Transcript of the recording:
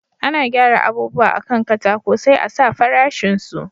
Ana gyara abubuwa a kan katako sai a sa farashin su